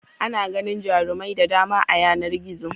Ana ganin jarumai da dama a yanar gizo.